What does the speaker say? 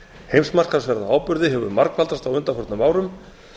heimsmarkaðsverð á áburði hefur margfaldast á undanförnum árum